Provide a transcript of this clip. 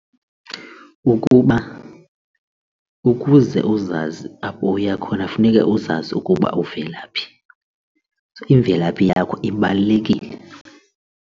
Ukuba ukuze uzazi apho uya khona funeke uzazi ukuba uvela phi. Imvelaphi yakho ibalulekile.